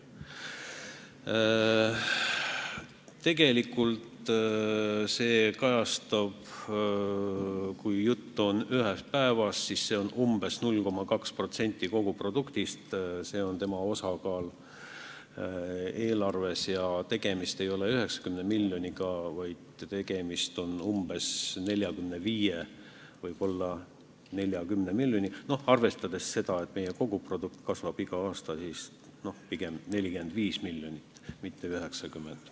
Tegelikult, kui jutt on ühest päevast, siis see on umbes 0,2% koguproduktist, see on tema osakaal eelarves, ja tegemist ei ole 90 miljoniga, vaid umbes 45, võib-olla 40 miljoniga, arvestades seda, et meie koguprodukt kasvab igal aastal pigem 45 miljonit, mitte 90.